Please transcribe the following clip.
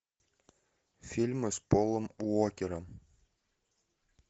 фильмы с полом уокером